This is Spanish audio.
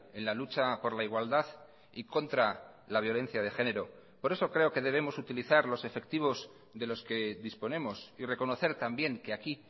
en la lucha por la igualdad y contra la violencia de género por eso creo que debemos utilizar los efectivos de los que disponemos y reconocer también que aquí